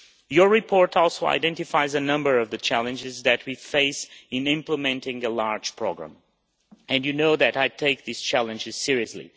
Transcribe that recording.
Your report also identifies a number of the challenges that we face in implementing a large programme and you know that I take these challenges seriously.